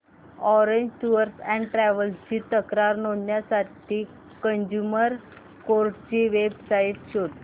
orange tours and travels ची तक्रार नोंदवण्यासाठी कंझ्युमर कोर्ट ची वेब साइट शोध